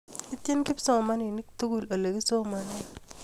Itchini kipsomanik tugul ole kisomane